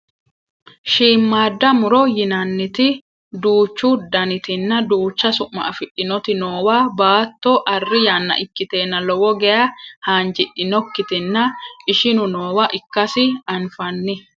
shiimmaadda muro yinanniti duuchu danitinna duucha su'ma afidhinoti noowa baatto arri yanna ikkiteenna lowo geya haanjidhinokkitanna ishinu noowa ikkasi anfanni